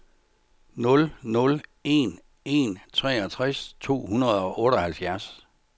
nul nul en en treogtres to hundrede og otteoghalvfjerds